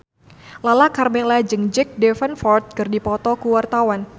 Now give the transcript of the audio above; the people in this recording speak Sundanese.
Lala Karmela jeung Jack Davenport keur dipoto ku wartawan